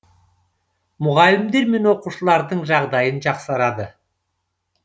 мұғалімдер мен оқушылардың жағдайын жақсарады